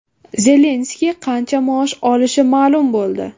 Zelenskiy qancha maosh olishi ma’lum bo‘ldi.